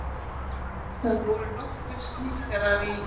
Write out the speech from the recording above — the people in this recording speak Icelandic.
Það voru nokkrir snikkarar í